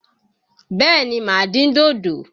Bẹ́ẹ̀ ni, màá dín dòdò.